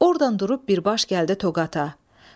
Ordan durub birbaşa gəldi Toqata.